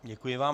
Děkuji vám.